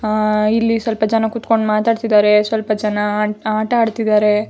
ಆಹ್ಹ್ ಇಲ್ಲಿ ಸ್ವಲ್ಪ ಜನ ಕುತ್ಕೊಂಡು ಮಾತಾಡ್ತಾ ಇದ್ದಾರೆ ಸ್ವಲ್ಪ ಜನ ಆಟ ಆಡ್ತಾ ಇದ್ದಾರೆ.